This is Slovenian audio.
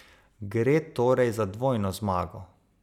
Gre torej za dvojno zmago.